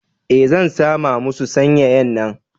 Eh, zan San ma masu sanyayan na.